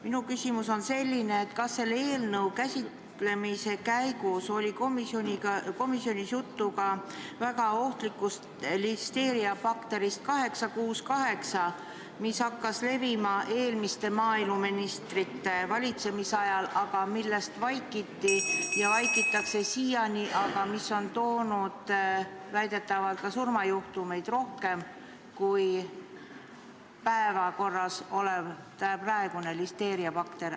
Minu küsimus on, et kas selle eelnõu käsitlemise käigus oli komisjonis juttu ka väga ohtlikust listeeriabakterist 868, mis hakkas levima eelmiste maaeluministrite valitsemisajal, aga millest vaikiti ja vaikitakse siiani, aga mis on toonud väidetavalt ka surmajuhtumeid rohkem kui praegu päevakorral olev listeeriabakter.